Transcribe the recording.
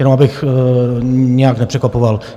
Jenom abych nějak nepřekvapoval.